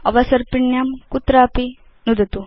अवसर्पिण्यां कुत्रापि नुदतु